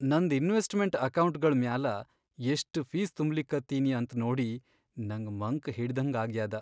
ನನ್ದ್ investment ಅಕೌಂಟ್ಗಳ್ ಮ್ಯಾಲ ಎಷ್ಟ್ ಫೀಸ್ ತುಂಬ್ಲಿಕತ್ತೀನಿ ಅಂತ್ ನೋಡಿ ನಂಗ್ ಮಂಕ್ ಹಿಡದ್ಹಂಗಾಗ್ಯಾದ.